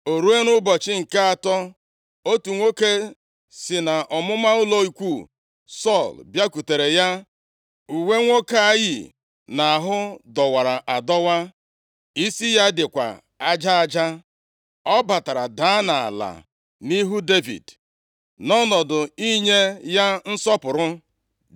O ruo, nʼụbọchị nke atọ, otu nwoke si nʼọmụma ụlọ ikwu Sọl bịakwutere ya. Uwe nwoke a yi nʼahụ dọwara adọwa. Isi ya dịkwa aja aja. Ọ batara daa nʼala nʼihu Devid nʼọnọdụ inye ya nsọpụrụ.